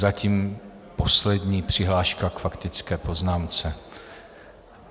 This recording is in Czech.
Zatím poslední přihláška k faktické poznámce.